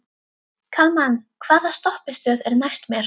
Kalman, hvaða stoppistöð er næst mér?